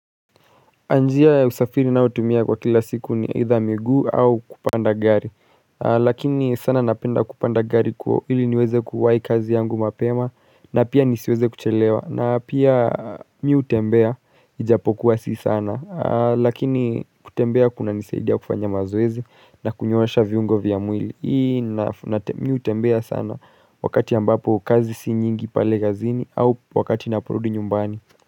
Njia ya usafiri ninaotumia kwa kila siku ni either miguu au kupanda gari Lakini sana napenda kupanda gari kwa ili niweze kuwai kazi yangu mapema na pia nisiweze kuchelewa na pia mimi hutembea ijapokuwa si sana Lakini kutembea kunanisaidia kufanya mazoezi na kunyoosha viungo vya mwili Mimi hutembea sana wakati ambapo kazi si nyingi pale kazini au wakati naporudi nyumbani.